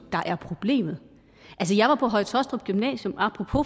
er problemet jeg var på høje taastrup gymnasium apropos